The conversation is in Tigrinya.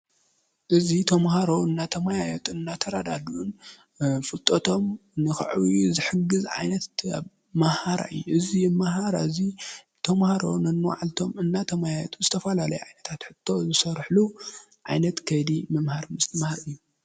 እዙ ተምሃሮ እናተ ማያዮት እናተራዳዱን ፍልጠቶም ንኽዑዊ ዘሕግዘ ዓይነት መሃራይ እዙይ መሃራ እዙይ ቶምሃሮ ን ኖዓልቶም እናተ ማያጡ ስተፈላለይ ኣይነታት ሕተ ዘሰርሕሉ ዓይነት ከዲ ምምህሪ ምስ ሊ መሃር እዩ::